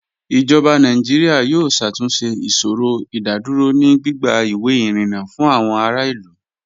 Ijọba Nàìjíríà yóò ṣàtúnṣẹ̀ ìṣòrò ìdádúrò ni gbigba iwé irínńá fún àwọn àrà ilú